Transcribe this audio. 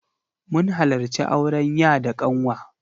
Mun halarci auren ya da ƙanwa.